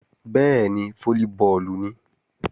Bẹ́ẹ̀ni, fólíbọọ̀lù nìí